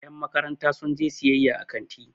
yanmakaranta su je siyayya a kanti